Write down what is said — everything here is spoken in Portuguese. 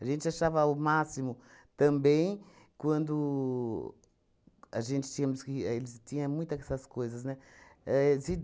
A gente achava o máximo também quando a gente tínhamos que... eles tinha muita que essas coisas, né? Ahn se